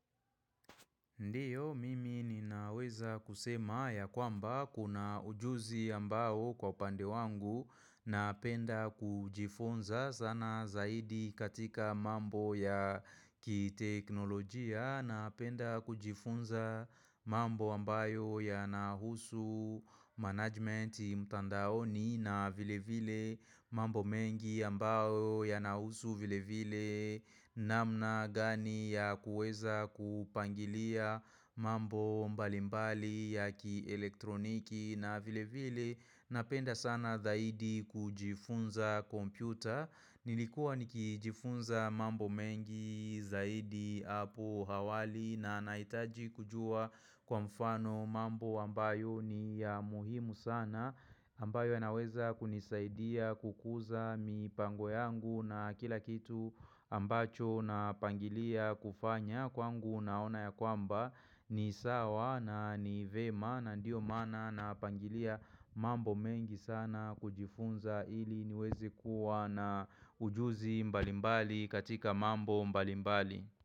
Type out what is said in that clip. Ndiyo mimi ninaweza kusema ya kwamba kuna ujuzi ambayo kwa upande wangu, napenda kujifunza sana zaidi katika mambo ya kiteknolojia. Napenda kujifunza mambo ambayo yanahusu management mtandaoni na vile vile mambo mengi ambayo yanahusu vile vile namna gani ya kuweza kupangilia mambo mbalimbali ya kielektroniki na vile vile. Napenda sana zaidi kujifunza kompyuta Nilikuwa nikijifunza mambo mengi zaidi hapo awali, na nahitaji kujuwa kwa mfano mambo ambayo ni ya muhimu sana ambayo yanaweza kunisaidia kukuza mipango yangu na kila kitu ambacho napangilia kufanya. Kwangu naona ya kwamba ni sawa na ni vyema na ndiyo maana napangilia mambo mengi sana kujifunza ili niwezi kuwa na ujuzi mbalimbali katika mambo mbalimbali.